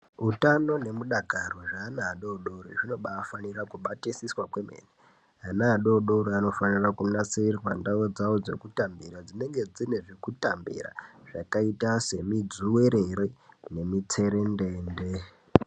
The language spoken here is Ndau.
Hutano nemudakaro zveana adodori zvinobafanira kubatisiswa kwemene. Ana adodori anofanira kunasirirwa ndau dzawo dzekutambira dzinenge dzine zvekutambira zvakaita semi dzuwerere nemitserendende.